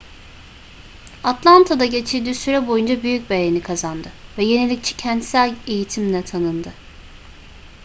atlanta'da geçirdiği süre boyunca büyük beğeni kazandı ve yenilikçi kentsel eğitimle tanındı